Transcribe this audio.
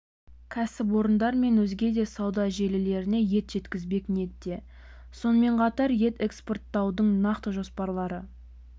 кәсіпорындар мен өзге де сауда желілеріне ет жеткізбек ниетте сонымен қатар ет экспорттаудың нақты жоспарлары